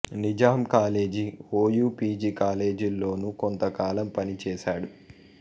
Nizam college OU PG కాలేజీల్లోనూ కొంతకాలం పని చేశాడు